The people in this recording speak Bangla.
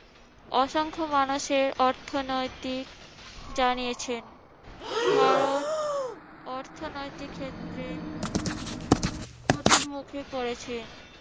অসংখ্য মানুষের অর্থনৈতিক জানিয়েছেন। ভারত অর্থনৈতিক ক্ষেত্রে ক্ষতির মুখে পড়েছে।